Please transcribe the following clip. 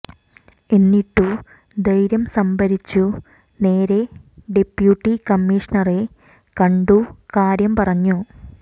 എന്നിട്ടു ധൈര്യം സംഭരിച്ചു നേരെ ഡെപ്യൂട്ടി കമ്മിഷണറെ കണ്ടു കാര്യം പറഞ്ഞു